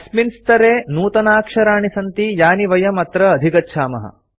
अस्मिन् स्तरे नूतनाक्षराणि सन्ति यानि वयं अत्र अधिगच्छामः